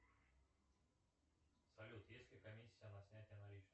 салют есть ли комиссия на снятие наличных